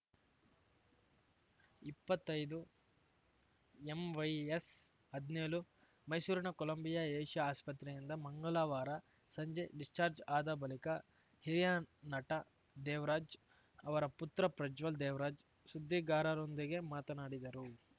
ಇಪ್ಪತ್ತೈದುಎಂವೈಎಸ್‌ಹದ್ನ್ಯೋಳು ಮೈಸೂರಿನ Columbia Asia ಆಸ್ಪತ್ರೆಯಿಂದ ಮಂಗಳವಾರ ಸಂಜೆ ಡಿಸ್ಚಾರ್ಜ್ ಆದ ಬಳಿಕ ಹಿರಿಯ ನಟ ದೇವರಾಜ್‌ ಅವರ ಪುತ್ರ ಪ್ರಜ್ವಲ್‌ ದೇವರಾಜ್‌ ಸುದ್ದಿಗಾರರೊಂದಿಗೆ ಮಾತನಾಡಿದರು